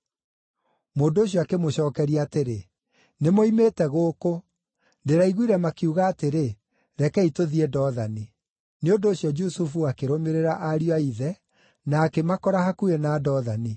Mũndũ ũcio akĩmũcookeria atĩrĩ, “Nĩmoimĩte gũkũ. Ndĩraiguire makiuga atĩrĩ, ‘Rekei tũthiĩ Dothani.’ ” Nĩ ũndũ ũcio Jusufu akĩrũmĩrĩra ariũ a ithe, na akĩmakora hakuhĩ na Dothani.